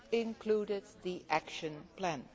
including the action plan.